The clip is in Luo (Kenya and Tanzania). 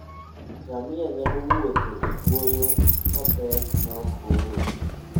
Ngamia nyalo wuotho e kwoyo mapek maok ool.